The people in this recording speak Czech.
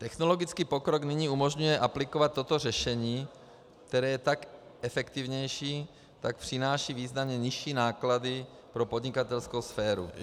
Technologický pokrok nyní umožňuje aplikovat toto řešení, které je jak efektivnější, tak přináší významně nižší náklady pro podnikatelskou sféru.